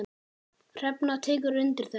Hrefna tekur undir þetta.